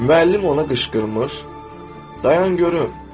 Müəllim ona qışqırmış, dayan görüm.